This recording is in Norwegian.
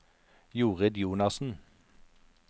Jorid Jonassen